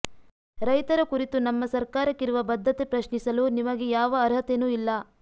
ರೈತರ ಕುರಿತು ನಮ್ಮ ಸರ್ಕಾರಕ್ಕಿರುವ ಬದ್ಥತೆ ಪ್ರಶ್ನಿಸಲು ನಿಮಗೆ ಯಾವ ಅರ್ಹತೆನೂ ಇಲ್ಲ